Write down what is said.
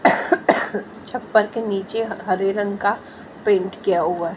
छप्पर के नीचे हरे रंग का पेंट किया हुआ है--